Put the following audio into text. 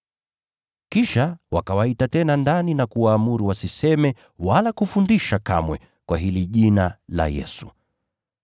Kisha wakawaita tena ndani na kuwaamuru wasiseme wala kufundisha kamwe kwa hili jina la Yesu.